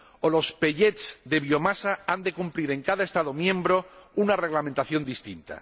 o los de biomasa, que han de cumplir en cada Estado miembro una reglamentación distinta.